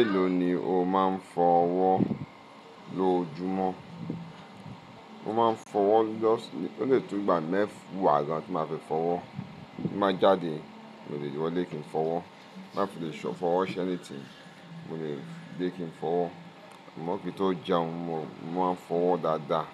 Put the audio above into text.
Èló ni o máa ń fọ ọwọ́ lóojúmọ́? Mo máa ń fọ ọwọ́ lóṣan, ó lè tó ìgbà mẹ́fà wà á jẹ́ tí máa fi fọ́wọ́. Bí mo bá jáde, mo ò lè wọlé kí n fọwọ́. Má fi lè sọ fọwọ́ ṣe ẹni tíì, mo lè dé kí n fọwọ́. Àmón kín i tó jẹun, mo máa ń fọwọ́ dáadáa.